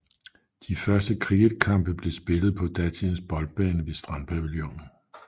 De første cricketkampe blev spillet på datidens boldbane ved strandpavillonen